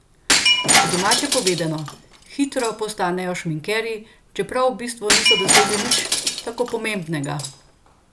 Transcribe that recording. Po domače povedano, hitro postanejo šminkerji, čeprav v bistvu niso dosegli nič tako pomembnega.